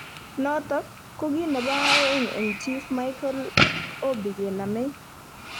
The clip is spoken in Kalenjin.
Notok ko ki nebo aeng eng chief Mikel Obi kenamei